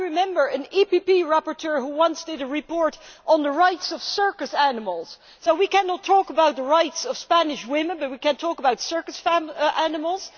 I remember an EPP rapporteur who once did a report on the rights of circus animals so we cannot talk about the rights of Spanish women, but we can talk about circus animals!